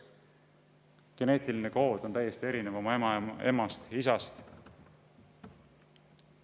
Geneetiline kood on ema-isa omast täiesti erinev.